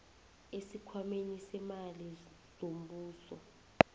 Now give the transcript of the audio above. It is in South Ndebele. esikhwameni seemali zombuso